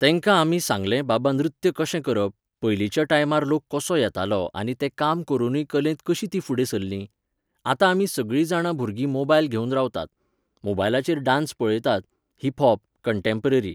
तेंका आमी सांगले बाबा नृत्य कशें करप, पयलींच्या टायमार लोक कसो येतालो आनी ते काम करूनय कलेंत कशी तीं फुडें सरलीं? आतां आमी सगळीं जाणां भुरगीं मोबायल घेवन रावतात. मोबायलाचेर डान्स पळयतात, हिप हॉप, कण्टॅम्पररी.